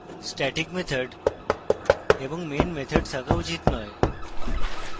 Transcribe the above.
static methods এবং main methods থাকা উচিত নয়